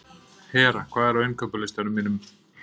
Hera, hvað er á innkaupalistanum mínum?